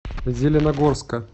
зеленогорска